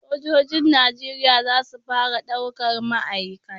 Sojojin Najeriya za su fara daukar ma'aikata.